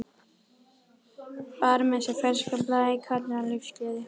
Bar með sér ferskan blæ, kátínu, lífsgleði.